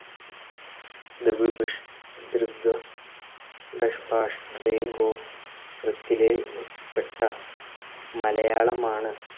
ദ്രവ് ഡഷ് ഭാഷ്‌ ട്രീ ഗോ ത്ത്രത്തിലെ പ്പെട്ട മലയാളമാണ്.